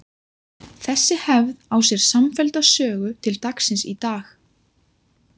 Þessi hefð á sér samfellda sögu til dagsins í dag.